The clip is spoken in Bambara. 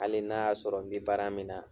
Hali n'a y'a sɔrɔ n bɛ baara min na.